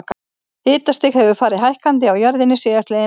Hitastig hefur farið hækkandi á jörðinni síðastliðin ár.